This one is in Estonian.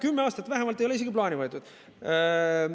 Kümme aastat vähemalt ei ole isegi plaani võetud.